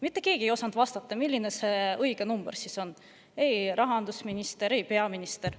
Mitte keegi ei osanud vastata, milline see õige number on – ei rahandusminister ega peaminister.